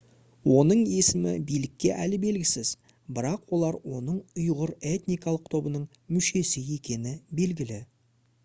оның есімі билікке әлі белгісіз бірақ олар оның ұйғыр этникалық тобының мүшесі екені белгілі